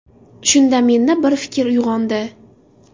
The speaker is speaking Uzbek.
Shunda menda bir fikr uyg‘ondi.